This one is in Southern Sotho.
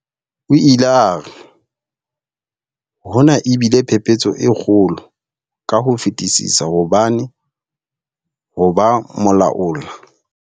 O ile a re, Hona e bile phephetso e kgolo ka ho fetisisa hobane ho ba molaola.